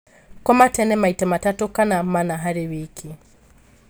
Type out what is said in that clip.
Koma tene maita matatu kana mana harĩ wiki